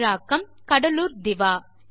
தமிழாக்கம் கடலூர் திவா